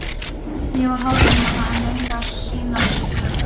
Ég var hálf einmana, en reyndi að sýnast ör- ugg.